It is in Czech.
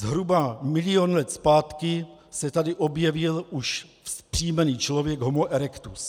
Zhruba milion let zpátky se tady objevil už vzpřímený člověk - homo erectus.